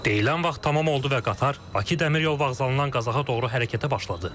Deyilən vaxt tamam oldu və qatar Bakı dəmiryol vağzalından Qazaxa doğru hərəkətə başladı.